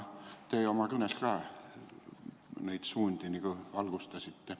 Teie oma kõnes ka neid suundi valgustasite.